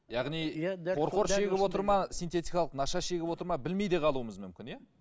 яғни қор қор шегіп отыр ма синтетикалық наша шегіп отыр ма білмей де қалуымыз мүмкін иә